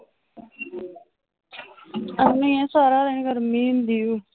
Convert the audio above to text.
ਅੰਨੀਏ ਸਾਰਾ ਦਿਨ ਗਰਮੀ ਹੁੰਦੀ ਹੈ।